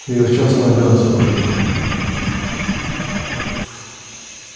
я в частную авиацию пойду